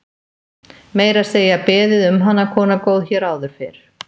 Meira að segja beðið um hana, kona góð, hér áður fyrr.